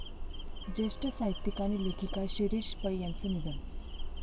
ज्येष्ठ साहित्यिक आणि लेखिका शिरीष पै यांचं निधन